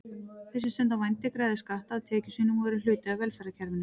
Þeir sem stunda vændi greiða skatta af tekjum sínum og eru hluti af velferðarkerfinu.